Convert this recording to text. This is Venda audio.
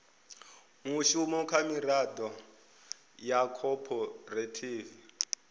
mushumo kha miraḓo ya khophorethivi